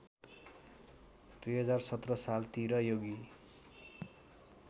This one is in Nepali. २०१७ सालतिर योगी